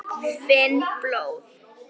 Finn blóð.